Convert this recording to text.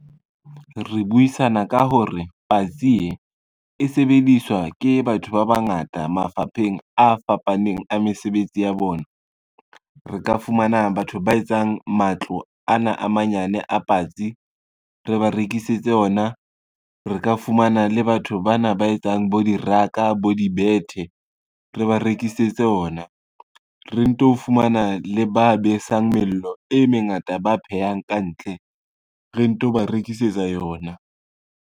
Re buisana ka hore patsi e, e sebediswa ke batho ba bangata mafapheng a fapaneng a mesebetsi ya bona. Re ka fumana batho ba etsang matlo ana a manyane a patsi re ba rekisetse yona, re ka fumana le batho bana ba etsang bo diraka, bo dibethe re ba rekisetse ona, re nto fumana le ba besang mello e mengata, ba phehang ka ntle re nto ba rekisetsa yona.